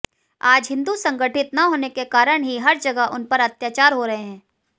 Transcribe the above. आज हिन्दू संगठित न होने कारण ही हर जगह उनपर अत्याचार हो रहे है